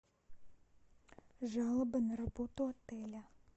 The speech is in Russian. жалоба на работу отеля